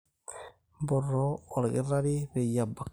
mpoto olkitari peyie ebak